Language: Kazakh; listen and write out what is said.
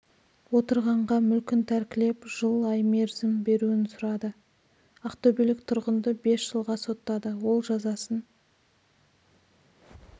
отырғанға мүлкін тәркілеп жыл ай мерзім беруін сұрады ақтөбелік тұрғынды бес жылға соттады ол жазасын